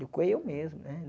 Do que eu mesmo, né?